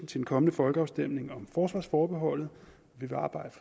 til en kommende folkeafstemning om forsvarsforbeholdet vi vil arbejde